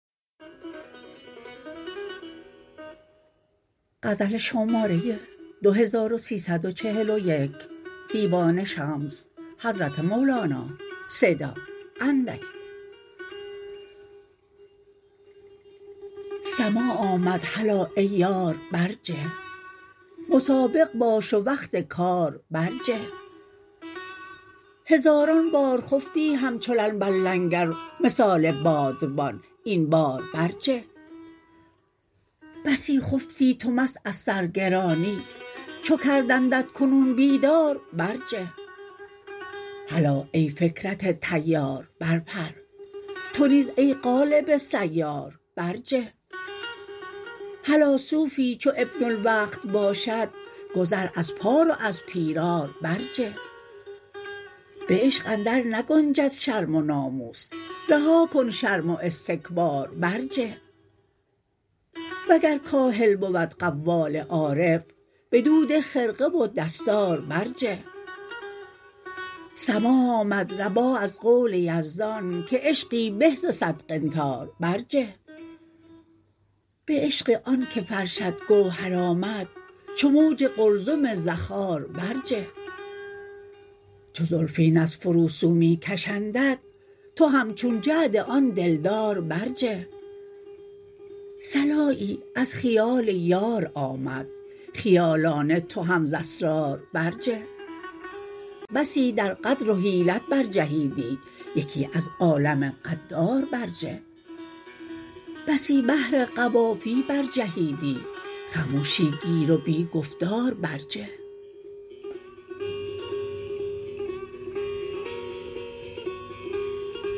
سماع آمد هلا ای یار برجه مسابق باش و وقت کار برجه هزاران بار خفتی همچو لنگر مثال بادبان این بار برجه بسی خفتی تو مست از سرگرانی چو کردندت کنون بیدار برجه هلا ای فکرت طیار برپر تو نیز ای قالب سیار برجه هلا صوفی چو ابن الوقت باشد گذر از پار و از پیرار برجه به عشق اندرنگنجد شرم و ناموس رها کن شرم و استکبار برجه وگر کاهل بود قوال عارف بدو ده خرقه و دستار برجه سماح آمد رباح از قول یزدان که عشقی به ز صد قنطار برجه به عشق آنک فرشت گوهر آمد چو موج قلزم زخار برجه چو زلفین ار فروسو می کشندت تو همچون جعد آن دلدار برجه صلایی از خیال یار آمد خیالانه تو هم ز اسرار برجه بسی در غدر و حیلت برجهیدی یکی از عالم غدار برجه بسی بهر قوافی برجهیدی خموشی گیر و بی گفتار برجه